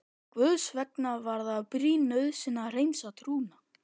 Guðs vegna var það brýn nauðsyn að hreinsa trúna.